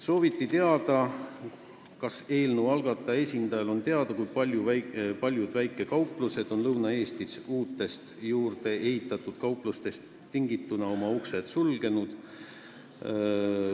Sooviti teada, kas eelnõu algataja esindaja on kursis, kui paljud Lõuna-Eesti väikekauplused on uute juurdeehitatud kaupluste tõttu oma uksed sulgenud.